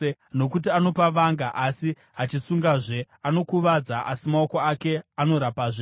Nokuti anopa vanga, asi achisungazve; anokuvadza, asi maoko ake anorapazve.